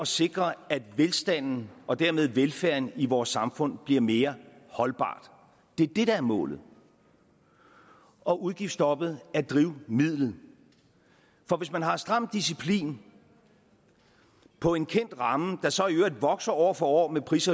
sikre at velstanden og dermed velfærden i vores samfund bliver mere holdbare det er det der er målet og udgiftsstoppet er drivmidlet for hvis man har en stram disciplin på en kendt ramme der så i øvrigt vokser år for år med pris